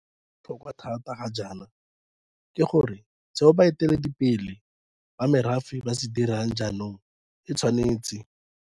Se se botlhokwa thata ga jaana ke gore seo baeteledi pele ba merafe ba se dirang jaanong e tshwanetse.